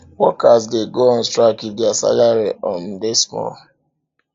workers de go on strike if their salary um de small